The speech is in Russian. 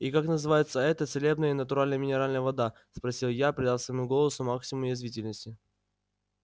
и как называется эта целебная и натуральная минеральная вода спросила я придав своему голосу максимум язвительности